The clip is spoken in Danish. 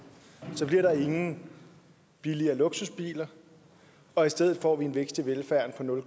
og så bliver der ingen billigere luksusbiler og i stedet får vi en vækst i velfærden på nul